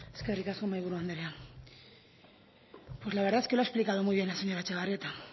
eskerrik asko mahaiburu anderea pues la verdad es que lo ha explicado muy bien la señora etxebarrieta